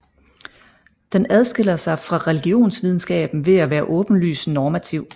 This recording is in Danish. Den adskiller sig fra religionsvidenskaben ved at være åbenlyst normativ